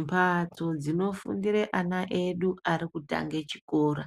Mphatso dzinofundira ana edu arikutange chikora